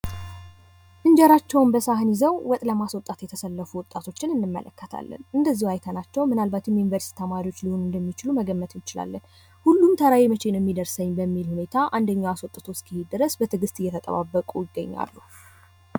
እንጀራቸውን በሳህን ይዘው ወጥ ለማሰጣት የተሰለፉ ወጣቶችን እንመለከታለን። እንደዚሁ አይተናቸው። ምናልባትም የዩኒቨርሲቲ ተማሪዎች ሊሆኑ እንደሚችሉ መገመት ይቻላል።